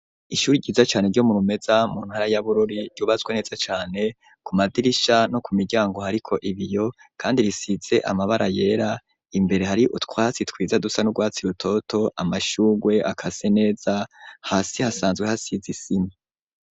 Ishuri ryiza cane ryo Murumeza mu ntara ya Bururi ryubaswe neza cane, ku madirisha no ku miryango hariko ibiyo kandi risize amabara yera, imbere hari utwatsi twiza dusa n'urwatsi rutoto, amashugwe akase neza, hasi hasanzwe hasize isima.